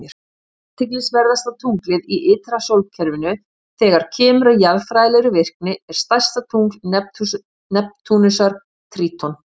Athyglisverðasta tunglið í ytra sólkerfinu, þegar kemur að jarðfræðilegri virkni, er stærsta tungl Neptúnusar, Tríton.